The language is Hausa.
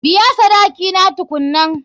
Biya sadaki na tukunnan.